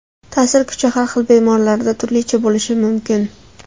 Ta’sir kuchi har xil bemorlarda turlicha bo‘lishi mumkin.